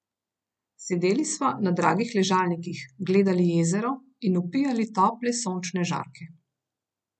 Sedeli sva na dragih ležalnikih, gledali jezero in vpijali tople sončne žarke.